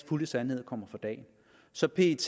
fulde sandhed kommer for dagen så pet